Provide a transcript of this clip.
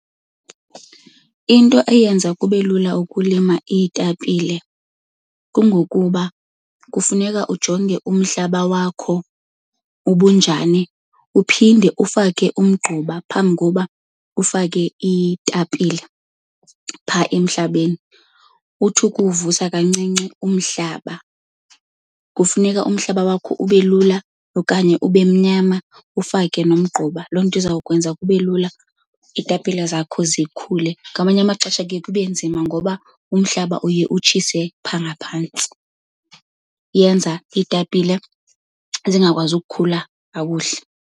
Into eyenza kube lula ukulima iitapile kungokuba kufuneka ujonge umhlaba wakho uba unjani, uphinde ufake umgquba phambi koba ufake iitapile phaa emhlabeni, uthi ukuwuvusa kancinci umhlaba. Kufuneka umhlaba wakho ube lula okanye ubemnyama ufake nomgquba. Loo nto izawukwenza kubelula iitapile zakho zikhule. Ngamanye amaxesha kuye kube nzima ngoba umhlaba uye utshise phaa ngaphantsi, yenza iitapile zingakwazi ukukhula kakuhle.